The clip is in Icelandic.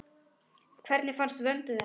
Hvernig fannst Vöndu þetta?